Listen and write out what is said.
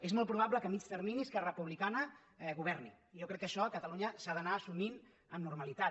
és molt probable que a mitjà termini esquerra republicana governi i jo crec que això a catalunya s’ha d’anar assumint amb normalitat